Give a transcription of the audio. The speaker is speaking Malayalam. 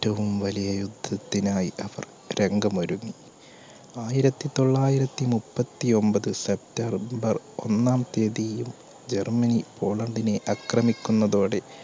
ഏറ്റവും വലിയ യുദ്ധത്തിനായി അവർ രംഗമൊരുങ്ങി. ആയിരത്തിതൊള്ളായിരത്തി മുപ്പത്തിഒൻപത് september ഒന്നാം തിയതിയിൽ ജർമ്മനി പോളണ്ടിനെ അക്രമിക്കുന്നതോടെ